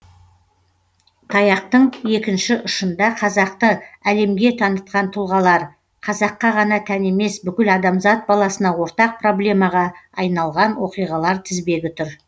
таяқтың екінші ұшында қазақтың әлемге танытқан тұлғалар қазаққа ғана тән емес бүкіл адамзат баласына ортақ проблемаға айналған оқиғалар тізбегі тұр